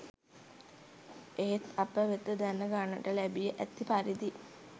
එහෙත් අප වෙත දැන ගන්නට ලැබී ඇති පරිදි